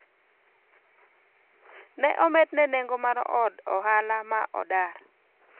ne omedne nengo mar od ohala ma odar